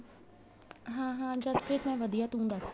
ਹਾਂ ਹਾਂ ਜਸਪ੍ਰੀਤ ਮੈਂ ਵਧੀਆ ਤੂੰ ਦੱਸ